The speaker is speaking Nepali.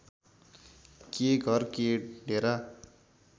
के घर के डेरा